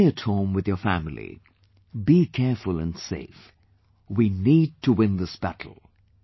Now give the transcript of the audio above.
Stay at home with your family, be careful and safe, we need to win this battle